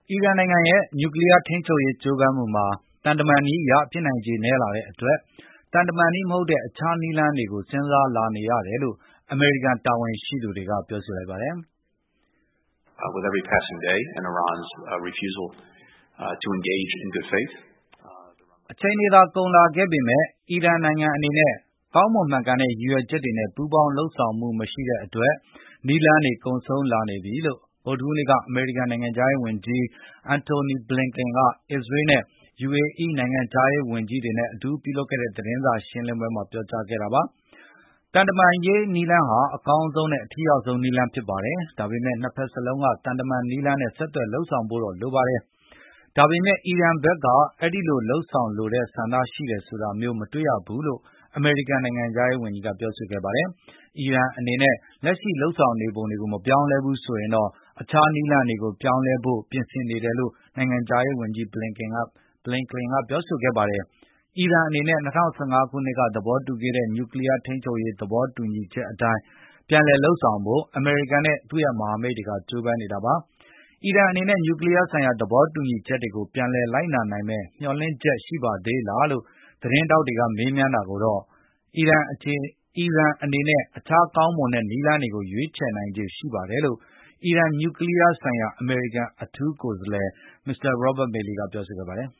အီရန်နိုင်ငံရဲ့ နျူကလီးယား ထိန်းချုပ်ရေးကြိုးပမ်းမှုတွေမှာ သံတမန်နည်းအရ ဖြစ်နိုင်ခြေနည်းလာတဲ့ အတွက်၊ သံတမန်နည်းမဟုတ်တဲ့အခြားနည်းလမ်းတွေကို စဉ်းစားလာနေရတယ်လို့ အမေရိကန် တာဝန်ရှိသူတွေကပြောဆိုလိုက်ပါတယ်။ "အချိန်တွေသာကုန်လာခဲ့ပေမယ့်၊ အီရန်နိုင်ငံအနေနဲ့ ကောင်းမွန်မှန်ကန်တဲ့ရည်ရွယ်ချက်တွေနဲ့ ပူးပေါင်းဆောင်ရွက်မှုမရှိတဲ့အတွက် နည်းလမ်းတွေကုန်ဆုံးလာနေပြီ "လို့ ကနေ့ ဗုဒ္ဓဟူးနေ့မှာ အမေရိကန် နိုင်ငံခြား ရေးဝန်ကြီး Antony Blinkien က အစ္စရေး နဲ့ UAE နိုင်ငံခြားရေးဝန်ကြီး တွေနဲ့အတူပြု လုပ်ခဲ့တဲ့ သတင်းစားရှင်းလင်းပွဲမှာ ပြောကြားခဲ့ပါတယ်။ သံတမန်ရေးနည်းလမ်းဟာ အကောင်းဆုံးနဲ့အထိရောက်ဆုံးနည်းလမ်းဖြစ်ပါတယ်။ ဒါပေမယ့် နှစ်ဘက်လုံးက သံတမန်နည်လမ်းနဲ့ ဆက်သွယ်လုပ်ဆောင်ဖို့တော့လိုပါတယ်။ ဒါပေမယ့် အီရန်ဖက်က အဲဒီလို လုပ်ဆောင်လိုတဲ့ဆန္ဒရှိတယ်ဆိုတာမျိုး မတွေ့ရပါဘူးလို့ အမေရိကန်နိုင်ငံခြားရေးဝန်ကြီးကပြောဆိုခဲ့ ပါတယ်။ အီရန်အနေနဲ့ လက်ရှိလုပ်ဆောင်နေပုံတွေကိုမပြောင်းလည်းဘူးဆိုရင်တော့ အခြားနည်း လမ်းတွေကိုပြောင်းလဲဖို့ပြင်ဆင်နေတယ်လို့ နိုင်ငံခြားရေးဝန်ကြီး Blinkien ကပြောဆိုခဲ့ပါတယ်။ အီရန်အနေနဲ့ ၂၀၁၅ ခုနှစ်က သဘောတူခဲ့တဲ့ နျူကလီးယား ထိန်းချုပ်ရေးသဘောတူညီချက်အတိုင်း ပြန်လည်လုပ်ဆောင်ဖို့ အမေရိကန်နဲ့ သူ့ရဲ့မဟာမိတ်တွေကကျိုးပမ်းနေတာပါ။ အီရန်အနေနဲ့ နျူကလီးယားဆိုင်ရာသဘောတူညီချက်တွေကို ပြန်လည်လိုက်နာနိုင်မယ့်မျှော်လင့်ချက်ရှိပါသေးလားလို့ သတင်းထောက်တွေကမေးမြန်းတာကိုတော့ အီရန်အနေနဲ့ အခြားကောင်းမွန်တဲ့ နည်းလမ်းတွေကို ရွေးချယ်နိုင်ခြေရှိပါတယ်လို့ အီရန် နျူကလီးယားဆိုင်ရာအမေရိကန်အထူး ကိုယ်စားလှယ် Robert Malley ကတော့ ပြောဆိုခဲ့ပါတယ်